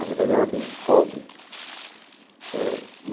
Na verdade, era bem hobby ãh.